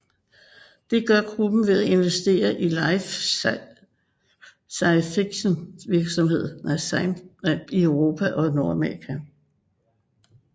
Det gør gruppen ved at investere i life science virksomheder i Europa og Nordamerika